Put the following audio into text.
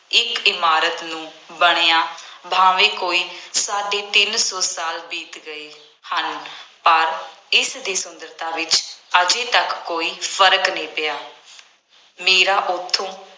ਇੱਕ ਇਮਾਰਤ ਨੂੰ ਬਣਿਆ ਭਾਵੇਂ ਕੋਈ ਸਾਢੇ ਤਿੰਨ ਸੌ ਸਾਲ ਬੀਤ ਗਏ ਹਨ, ਪਰ ਇਸਦੀ ਸੁੰਦਰਤਾ ਵਿੱਚ ਹਜੇ ਤੱਕ ਕੋਈ ਫਰਕ ਨਹੀਂ ਪਿਆ ਮੇਰਾ ਉੱਥੋਂ